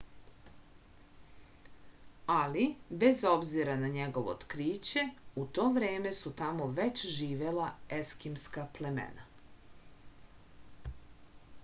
ali bez obzira na njegovo otkriće u to vreme su tamo već živela eskimska plemena